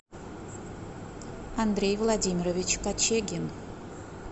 андрей владимирович кочегин